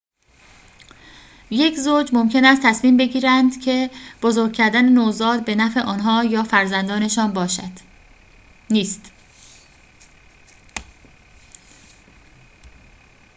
یک زوج ممکن است تصمیم بگیرند که بزرگ کردن نوزاد به نفع آنها یا فرزندشان نیست